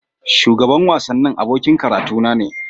Shugaban wasanni abokin karatuna ne.